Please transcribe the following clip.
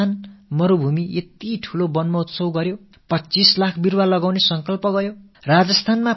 அங்கே கூட மிகப் பெரிய அளவில் ஒரு வன மஹோத்ஸவம் கொண்டாடப்பட்டு 25 இலட்சம் மரங்கள் நடப்படும் தீர்மானம் மேற்கொள்ளப்பட்டிருக்கிறது